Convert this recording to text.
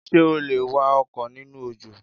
Ṣé o lè wa ọkọ̀ nínú òjò?